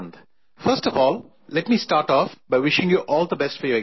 First of all, let me start off by wishing you all the best for your exams